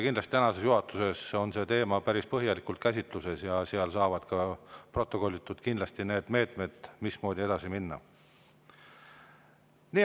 Kindlasti tänasel juhatuse käsitletakse seda teemat päris põhjalikult ja kindlasti saavad need meetmed, mismoodi edasi minna, protokollitud.